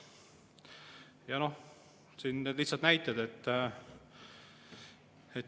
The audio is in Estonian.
Ja toon siin lihtsalt näiteid.